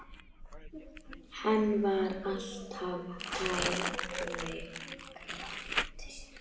Hann var alltaf hægri krati!